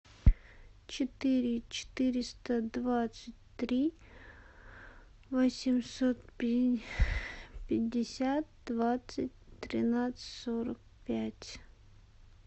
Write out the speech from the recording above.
четыре четыреста двадцать три восемьсот пятьдесят двадцать тринадцать сорок пять